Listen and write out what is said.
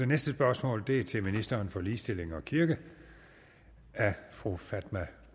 næste spørgsmål er til ministeren for ligestilling og kirke af fru fatma